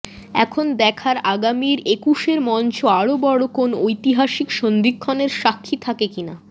এখন দেখার আগামীর একুশের মঞ্চ আরও বড় কোনও ঐতিহাসিক সন্ধিক্ষণের সাক্ষী থাকে কি না